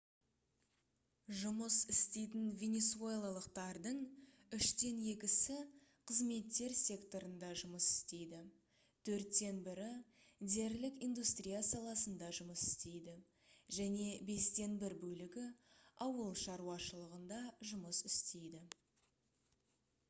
жұмыс істейтін венесуэлалықтардың үштен екісі қызметтер секторында жұмыс істейді төрттен бірі дерлік индустрия саласында жұмыс істейді және бестен бір бөлігі ауыл шаруашылығында жұмыс істейді